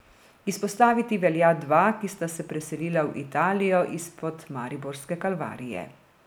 Izpostaviti velja dva, ki sta se preselila v Italijo izpod mariborske Kalvarije.